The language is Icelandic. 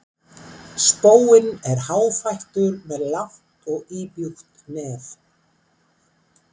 Spóinn er háfættur með langt og íbjúgt nef.